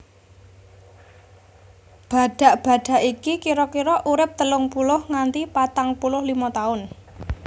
Badhak badhak iki kira kira urip telung puluh nganti patang puluh limo taun